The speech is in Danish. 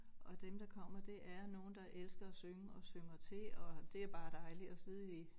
Og dem der kommer det er nogle der elsker at synge og synger til og det bare dejligt at sidde i